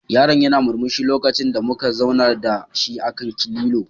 Yaron yana murmushi lokacin da muka zaunar da shi akan lilo.